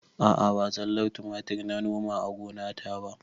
A'a ba zallar tumatir na noma a gonata ba